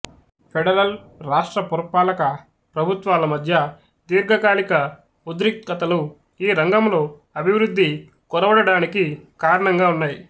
federal రాష్ట్ర పురపాలక ప్రభుత్వాల మధ్య దీర్ఘకాలిక ఉద్రిక్తతలు ఈ రంగములో అభివృద్ధి కొరవడడానికి కారణంగా ఉన్నాయి